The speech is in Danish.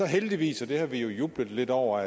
heldigvis og det har vi jo jublet lidt over